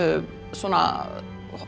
svona